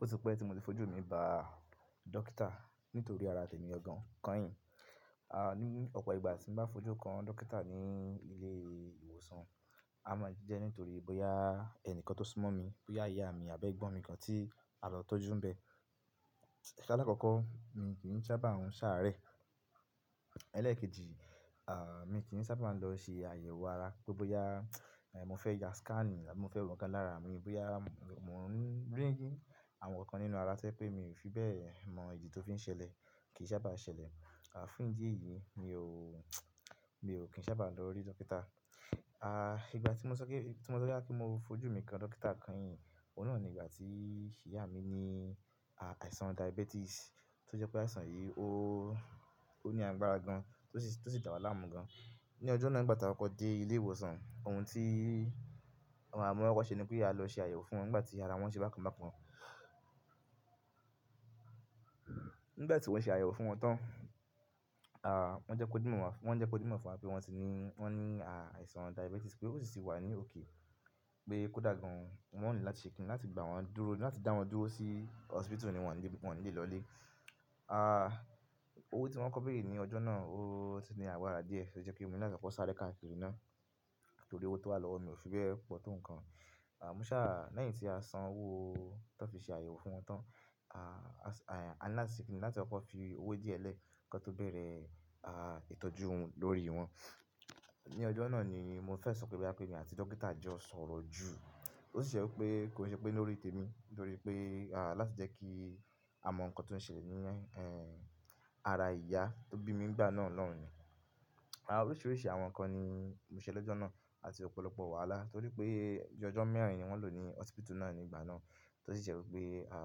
Ó ti pẹ́ tí mo ti fojú mi bá dókítà nítorí ara tèmi gangan kányìn. À, ní ọ̀pọ̀ ìgbà tí mo bá fojú kan dókítà ní ilé ìwòsàn, a máa jẹ́ nítorí bóyá ẹni kan tó súnmọ́ mi, bóyá ìyá mi àbí ẹ̀gbọ́n mi kan tí a lọ tọ́jú n bẹ. So alakọ̀ọ̀kọ́ mi kì n sábà n ṣàárẹ̀. Ẹlẹ́ẹ̀kejì, à, mi kì í sábà máa lọ ṣe àyẹ̀wò ara pé bóyá, è, mo fẹ́ ya scan ni àbí mo fẹ́ wo nǹkan lára mi. Bóyá mò ń rí àwọn nǹkan nínú ara tó je pé mi ò fi bẹ́ẹ̀ mọ ìdí tó fi ń ṣẹlẹ̀, kì í sábà ṣẹlẹ̀. À, fún ìdí èyí mi ò, mi ò kì n sábà lọ rí dókítà. À, ìgbà tí mo sọ pé, tí mo sọ boya mo fojú mi kan dókítà kányìn, òun náà ni ìgbà tí ìyá mi ní, à, àìsàn diabetes tó jẹ́ pé àìsàn yìí ó, ó ní agbára gan-an tó sì, tó sì dà wa làámú gan-an. Ni ọjọ́ náà ìgbà tí a kọ dé ilé ìwòsàn, ohun tí a, mó koko ṣe ni pé a lọ ṣe àyẹ̀wò fún wọn nígbà tí ara wọn ṣe bákan bákan. Nígbà tí wọ́n ṣe àyẹ̀wò fún wọn tán, à, wọ́n jẹ́ kó dímọ̀, wọ́n jẹ́ kó dí mimọ̀ fún wa pé wọ́n ti ní, wọ́n ní, à, àìsàn diabetes pé ó sì tì wà ní òkè, pé kó dàgbà gan-an. Wọ́n ò ní láti ṣe kiní láti gba wọn dúró, láti dá wọn dúró sí hospital ni wọ́n ní, wọ́n nílẹ̀ lọlé. À, owó tí wọ́n kọ́ báyìí ní ọjọ́ náà ó ti ní agbara díẹ̀ tó jẹ́ kí èmi ní koko sáré kakiri ná, nítorí owó tó wà lọ́wọ́ mi ò fi bẹ́ẹ̀ pọ̀ tó nǹkan. À, mo ṣà lẹ́yìn tí a san owó tó fi ṣe àyẹ̀wò fún wọn tán, à, a ní láti ṣe kiní láti fi koko fi owó díẹ̀ lẹ́ kan tó bẹ̀rẹ̀, à, ìtọ́jú wọn lórí wọn. Ni ọjọ́ náà ni mo fẹ́ sọ pé boya emi àti dókítà jọ sọ̀rọ̀ jù. Ó sì jẹ́ wipé kò n ṣe pé lórí tèmi nítorí pé, à, láti jẹ́ kí a mọ nǹkan tó ń ṣẹlẹ̀ ní, ẹ́, ara ìyá tó bí mi ń gbà náà lọ́hùn ni. À, oríṣiríṣi àwọn nǹkan ni mo ṣe lọ́jọ́ náà àti ọ̀pọ̀lọpọ̀ wàhálà torí pé ọjọ́ mẹ́rin ni wọ́n lò ní hospital náà nígbà náà. Tó sì je wi pé, à,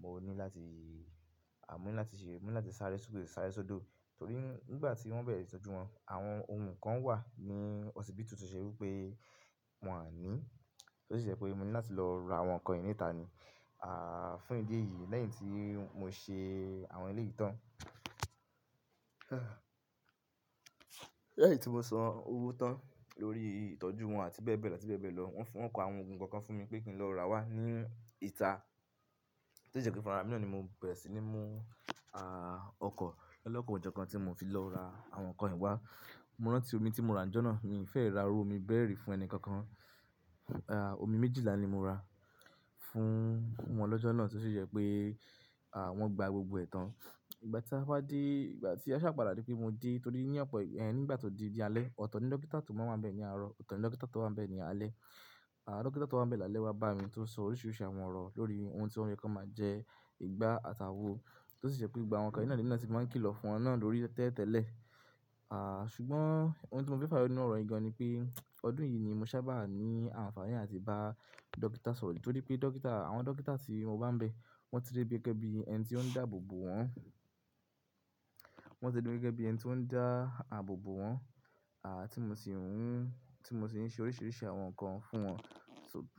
mo ní láti, à, mo ní láti ṣe, mo ní láti sáré sókè sáré sodo torí nígbà tí wọ́n bẹ̀rẹ̀ ìtọ́jú wọn, àwọn ohun kan wà ní hospital tó ṣe wí pé wọn o ní. Tó sì ṣe pé mo ní láti lọ ra àwọn nǹkan yen níta ni. À, fún ìdí èyí lẹ́yìn tí mo ṣe àwọn eleyii tàn. Lẹ́yìn tí mo san owó tán lórí ìtọ́jú wọn àti bẹ́ẹ̀ bẹ́ẹ̀ láti bẹ́ẹ̀ bẹ́ẹ̀ lọ, wọ́n fún, wọ́n kọ àwọn oogun kokan fún mi pé kí n lọ ra wá ní ìta tó si jẹ́ pe fúnrara mi náà ni mo bẹ̀rẹ̀ sí ní mú, à, ọkọ̀. Lolọ́kan òjọ́kan tí mo fi lọ ra àwọn nǹkan yìí wá, mo rántí omi tí mo ra ńjọ́ náà, mi ò fẹ́ ra irú omi bẹ́rẹ̀ rí fún ẹni kankan. À, omi méjìlá ni mo ra fún won ọlọ́jọ́ náà tó sì jẹ́ pé, à, wọ́n gba gbogbo ẹ̀tàn. Ìgbà tí a bá dé, ìgbà tí a ṣàpadà ri pé mo dé torí ní ọ̀pọ̀, ẹ́, nígbà tó di alẹ́ otoo ni dókítà tó máa ń bẹ ní àárọ̀, otoo ni dókítà tó máa ń bẹ ní alẹ́. À, dókítà tó wá bẹ̀ ní alẹ́ wá bá mi tó sọ oríṣiríṣi àwọn ọ̀rọ̀ lórí ohun tí o ye kí won máa jẹ, ìgbá àtàwó, tó sì je pé gbogbo àwọn nnkan yii nà ní emi náà ti máa ń kí lọ́fun náà lórí tẹ́tẹ́lẹ̀. À, ṣùgbọ́n ohun tí mo fẹ́ fayo nínú ọ̀rọ̀ yii gan-an ni pé ọdún yìí ni mo sábà ní àǹfààní láti bá dókítà sọ̀rọ̀ torí pé dókítà, àwọn dókítà tí mo bá ń bẹ wọ́n ti dé bí gege bí ẹni tí ó ń dáàbò bò wọn. Wọ́n ti dé bí gege bí ẹni tí ó ń dá àbòbò wọn, à, tí mo sì ń hun, tí mo sì ń ṣe oríṣiríṣi àwọn nǹkan fún wọn.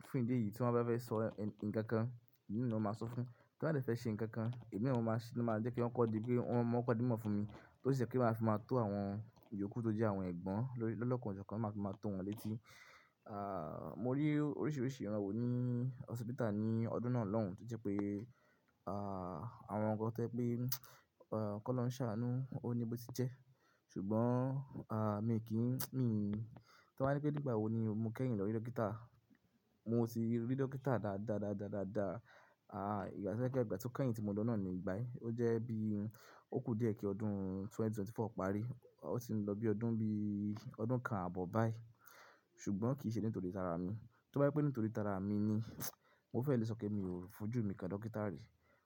Fún ìdí èyí tí wọ́n bá fẹ́ sọ e, n nǹkan kan, èmi naani wọ́n máa sọ fún. Tí wọ́n bá de fẹ́ ṣe nǹkan kan, èmi naaani wọ́n máa ṣẹ, ni wọ́n máa jẹ́ kí wọn kóko di, pé wọn máa kóko dí mimọ̀ fún mi. Tó sì jẹ́ pé máa fi máa tó àwọn iyoku tó jẹ́ àwọn ẹ̀gbọ́n lórí, lolọ́kan òjọ́kan ti máa fi máa tó wọn létí. À, mo rí oríṣiríṣi iran wo ní hospital ní ọdún náà lọ́hùn tó jẹ́ pé, à, àwọn nǹkan tó jẹ pé, ọ̀, kí olohun ṣàánú ó ní bó ti jẹ́. Ṣùgbọ́n, à, mi kì n, mi, tí wọ́n bá pe nígbà wo ni mo kẹ́yìn lọ rí dókítà. Mo sì rí dókítà dá, dá, dá, dá, dá, dá, à, ìgbà sẹ́ pe igbàá tó kẹ́yìn tí mo lọ náà ni igbá yii. Ó jẹ́ bí ó kú díẹ̀ kí ọdún ẹgbẹ̀rún méjì ó lé ẹ́rinlélógún parí. Ó ti ń lọ bí ọdún bí ọdún kan àbọ̀ báyìí ṣùgbọ́n kì í ṣe nítorí tara mi. To ba je wí pé nítorí tara mi ni, mo fẹ́ lè sọ pé mi ò fojú mi kan dókítà rí.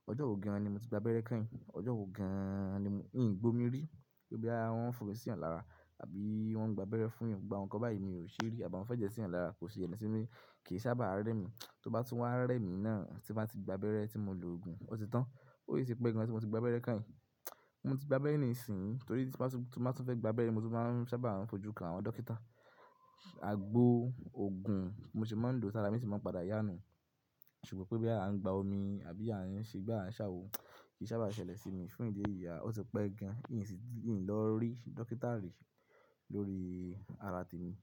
Ọjọ́ ò gan-an ni mo ti gba abẹ́rẹ́ kányìn, ọjọ́ ò gan-an ni mo, i n gbó mi rí. Pe boya wọn fò mí síyan lára àbí wọ́n gba abẹ́rẹ́ fúnyan gbogbo àwọn nǹkan báyìí mi ò ṣe rí àbí wọn fẹ́jẹ́ síyan lára kò si sele si mi ri, kì í sábà rẹ́ mi. To bá tún wá rẹ́ mi náà tí n bá ti gba abẹ́rẹ́ tí mo lòògùn, ó ti tán. Ó si ti pé gan tí mo ti gba abẹ́rẹ́ kányìn. Mo ti gba abẹ́rẹ́ nísìnyí torí tí n ba tún, tí n ba tún fẹ́ gba abẹ́rẹ́, mo tún máa ń sábà fojú kan àwọn dókítà. Àgbo, òògùn, bi mo se máa ń lo sàrá bi sì se máa ń padà yá inú. Ṣùgbọ́n pé boya à ń gba omi àbí à ń ṣe gbà à ń ṣàwo kì í sábà ṣẹlẹ̀ sí mi fún ìdí èyí, à, ó ti pẹ́ gan-an í n sì, í n lọ rí dókítà rí lórí ara tèmi.